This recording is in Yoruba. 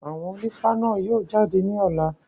Àwọn ònífá náà yóò jáde ní ọ̀la.